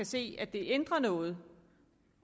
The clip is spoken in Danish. se at det ændrer noget